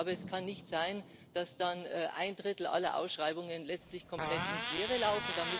Aber es kann nicht sein, dass ein Drittel aller Ausschreibungen letztlich komplett ins Leere läuft.